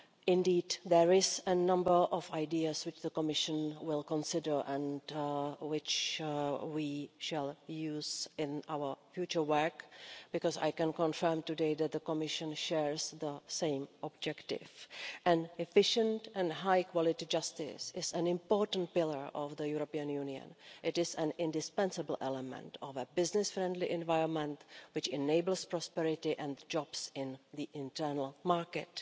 Indeed, there are a number of ideas which the Commission will consider and which we shall use in our future work because I can confirm today that the Commission shares the same objective. Efficient and high quality justice is an important pillar of the European Union. It is an indispensable element of a business friendly environment which enables prosperity and jobs in the internal market.